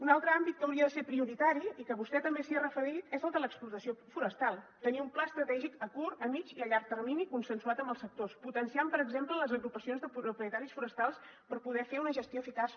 un altre àmbit que hauria de ser prioritari i que vostè també s’hi ha referit és el de l’explotació forestal tenir un pla estratègic a curt a mitjà i a llarg termini consensuat amb els sectors potenciant per exemple les agrupacions de propietaris forestals per poder fer una gestió eficaç